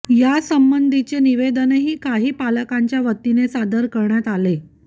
या संबंधीचे निवेदनही काही पालकांच्या वतीने सादर करण्यात आले